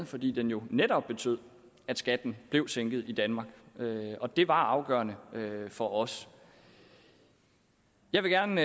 fordi den jo netop betød at skatten blev sænket i danmark og det var afgørende for os jeg vil gerne